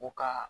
U ka